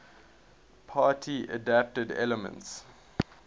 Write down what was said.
party adapted elements